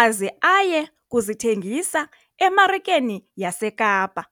aze aye kuzithengisa emarikeni yaseKapa.